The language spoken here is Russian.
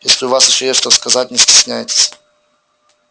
если у вас ещё есть что сказать не стесняйтесь